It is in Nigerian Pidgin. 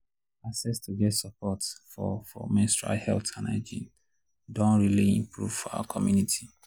access to get support for for menstrual health and hygiene doh really improve for our community